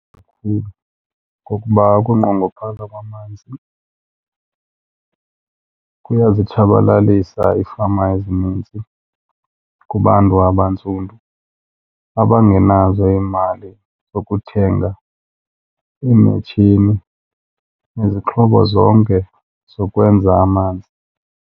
Ngokuba ukunqongophala kwamanzi kuyozitshabalalisa iifama ezinintsi kubantu abantsundu abangenazo iimali zokuthenga iimetshini nezixhobo zonke zokwenza amanzi.